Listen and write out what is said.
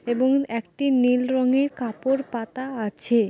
এবং একটি নীল রঙের কাপড় পাতা আছে।